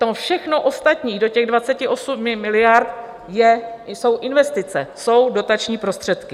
To všechno ostatní do těch 28 miliard jsou investice, jsou dotační prostředky.